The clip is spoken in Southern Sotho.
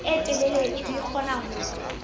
e telele di kgona ho